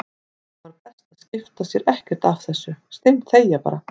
Það var best að skipta sér ekkert af þessu, steinþegja bara.